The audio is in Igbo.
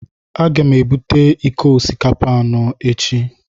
Aga m ebute iko osikapa anọ echi.